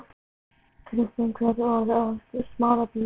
Krista, hvað er opið lengi í Smárabíói?